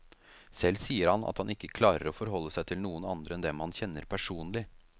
Selv sier han at han ikke klarer å forholde seg til noen andre enn dem han kjenner personlig.